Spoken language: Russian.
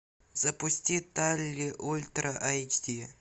запусти талли ультра айч ди